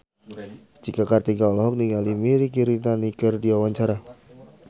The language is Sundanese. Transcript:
Cika Kartika olohok ningali Mirei Kiritani keur diwawancara